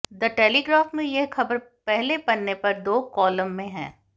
the Telegraph में यह खबर पहले पन्ने पर दो कॉलम में है